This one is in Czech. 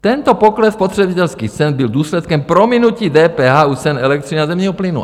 Tento pokles spotřebitelských cen byl důsledkem prominutí DPH u cen elektřiny a zemního plynu.